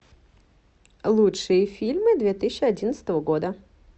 лучшие фильмы две тысячи одиннадцатого года